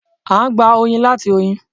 A gbà oyin láti oyin.